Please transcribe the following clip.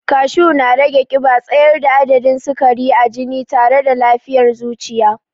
Kashu na rage ƙiba, tsayar da adadin sikari a jini tare da lafiyar zuciya.